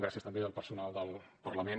gràcies també al personal del parlament